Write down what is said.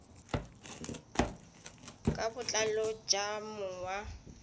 ka botlalo tsa mong wa